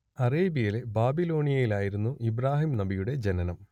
അറേബ്യയിലെ ബാബിലോണിയയിലായിരുന്നു ഇബ്രാഹിം നബിയുടെ ജനനം